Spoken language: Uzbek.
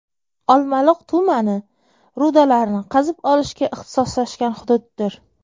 Olmaliq tumani rudalarni qazib olishga ixtisoslashgan hududdir.